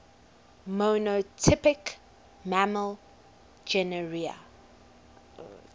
monotypic mammal genera